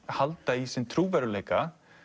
halda í sinn trúverðugleika